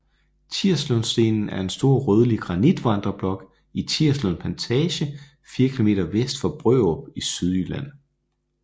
Tirslundstenen er en stor rødlig granitvandreblok i Tirslund Plantage 4 km vest for Brørup i Sydjylland